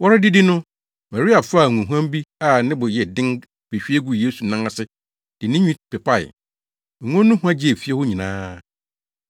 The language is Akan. Wɔredidi no, Maria faa ngohuam bi a ne bo yɛ den behwie guu Yesu nan ase de ne tinwi pepae. Ngo no hua gyee fie hɔ nyinaa.